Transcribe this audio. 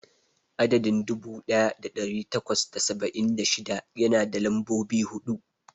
Adadin dubu daya da dari takwas da saba'in da shida yana da lambobi hudu.